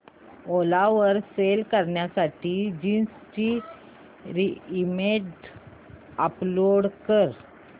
ओला वर सेल करण्यासाठी जीन्स ची इमेज अपलोड कर